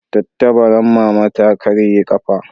Tattabaran mama ta ƙarye kafa